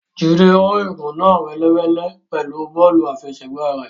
Jide rún ìgò náà ni wẹ́lewẹ̀le pẹlú bọ́ọ̀lù afẹsẹgba rẹ.